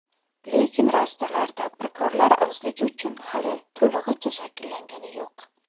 Lekin rastalar tadbirkorlar ozligi uchun hali to‘lig‘icha shakllangani yo‘q.